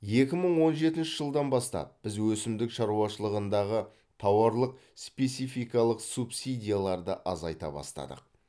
екі мың он жетінші жылдан бастап біз өсімдік шаруашылығындағы тауарлық спецификалық субсидияларды азайта бастадық